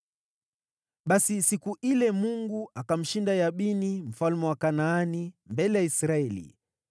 Basi siku ile Mungu akamshinda Yabini, mfalme wa Kanaani, mbele ya Israeli.